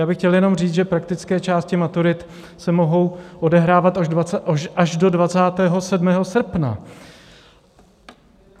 Já bych chtěl jenom říct, že praktické části maturit se mohou odehrávat až do 27. srpna.